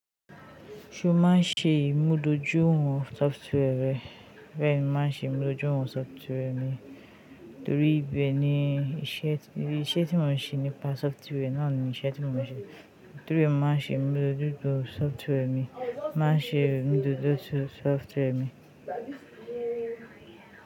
Ṣo máa ń ṣe ìmúdójúǹ wọ̀n software rẹ? Bẹ́ẹ̀ni, màá ń ṣe ìmúdójúǹ wọ̀n software mi torí bẹ́ẹ ni iṣẹ́ tí mò ń ṣe nípa software náà ni iṣẹ́ tí mò ń ṣe. Torí ẹ màá ń ṣe ìmúdójúǹ tó software mi, màá ń ṣe ìmúdójúǹ tó software mi.